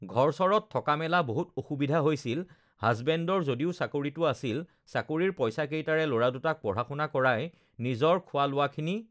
ঘৰ-চৰত থকা মেলা বহুত অসুবিধা হৈছিল হাজবেণ্ডৰ যদিও চাকৰিটো আছিল চাকৰিৰ পইচাকেইটাৰে ল'ৰাদুটাক পঢ়া-শুনা কৰাই নিজৰ খোৱা-লোৱাখিনি